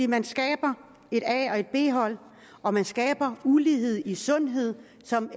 man skaber et a og et b hold og man skaber ulighed i sundhed som